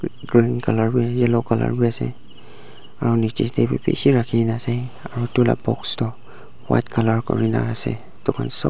green color wi yellow color wi ase aro niche tey wi bishi rakhikena ase aro itula box toh white color kurina ase itukhan sob--